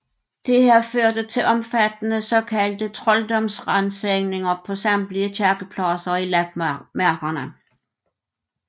Dette førte til omfattende såkaldte trolddomsransagninger på samtlige kirkepladser i lapmarkerne